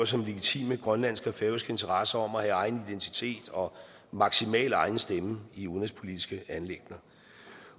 som legitime grønlandske og færøske interesser om at have egen identitet og maksimal egen stemme i udenrigspolitiske anliggender